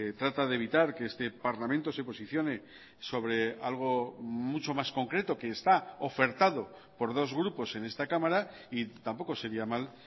trata de evitar que este parlamento se posicione sobre algo mucho más concreto que está ofertado por dos grupos en esta cámara y tampoco sería mal